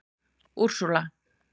Úrsúla